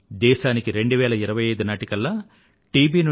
దేశానికి 2025 నాటికల్లా టి